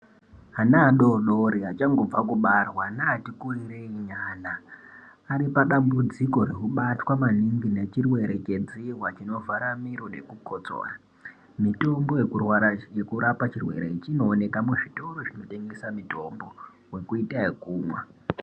Ana adodori achangobve kibarwa neati kurirei nyana ari padambudziko rekubatwa maningi nechirwere chedzihwa chinovhara miro nekukotsora. Mitombo yekurapa chirwere ichi inooneka muzvitoro zvinotengesa mitombo wekuita yekumwa.